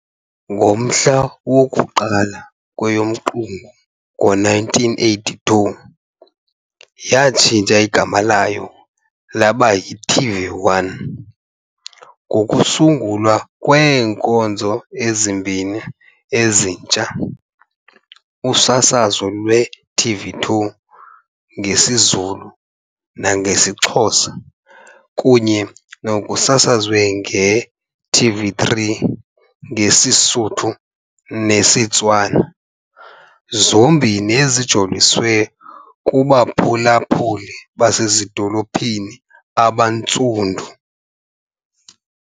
Ngomhla woku-1 kweyoMqungu ngo-1982, yatshintsha igama layo laba yi-TV1, ngokusungulwa kweenkonzo ezimbini ezintsha- usasazo lwe-TV2 ngesiZulu nangesiXhosa kunye nokusasazwa kwe-TV3 ngesiSuthu nesiTswana, zombini ezijoliswe kubaphulaphuli basezidolophini abaNtsundu.